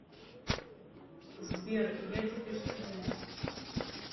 сбер я теперь студент